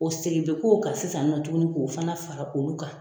O segin bɛ k'o kan sisan nɔ tuguni k'o fana fara olu kan.